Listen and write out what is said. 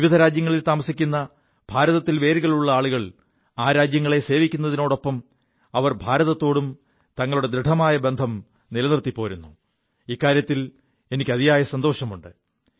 വിവിധ രാജ്യങ്ങളിൽ താമസിക്കു ഭാരതത്തിൽ വേരുകളുള്ള ആളുകൾ ആ രാജ്യങ്ങളെ സേവിക്കുതിനൊപ്പം അവർ ഭാരതത്തോടും തങ്ങളുടെ ദൃഢമായ ബന്ധം നിലനിർത്തിപ്പോരുു എതിൽ എനിക്ക് അതിയായ സന്തോഷമുണ്ട്